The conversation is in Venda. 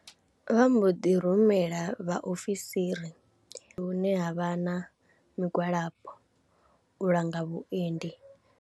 Vha mbo ḓi rumela vhaofisiri hune ha vha na migwalabo u langa vhuendi.